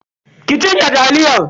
ki cinye taliyan.